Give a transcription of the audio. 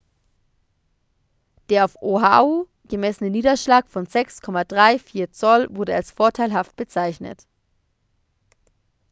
der auf oahu gemessene niederschlag von 6,34 zoll wurde als vorteilhaft bezeichnet